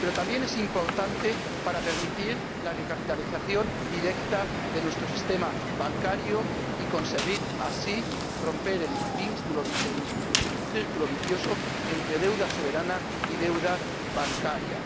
Pero también es importante para permitir la recapitalización directa de nuestro sistema bancario, y conseguir así romper el círculo vicioso entre deuda soberana y deuda bancaria.